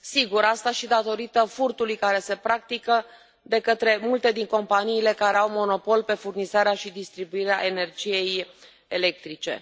Sigur, asta și datorită furtului care se practică de către multe dintre companiile care au monopol pe furnizarea și distribuirea energiei electrice.